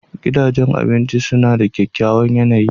Gidajen abinci suna da kyakkyawan yanayi.